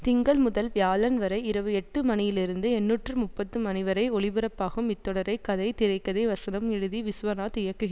திங்கள் முதல் வியாழன் வரை இரவு எட்டு மணியிலிருந்து எண்ணூற்று முப்பது மணிவரை ஒளிப்பரப்பாகும் இத்தொடரை கதை திரை கதை வசனம் எழுதி விஸ்வநாத் இயக்குகி